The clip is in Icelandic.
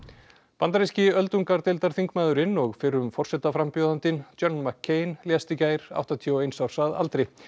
bandaríski öldungadeildarþingmaðurinn og fyrrum forsetaframbjóðandinn John lést í gær áttatíu og eins árs að aldri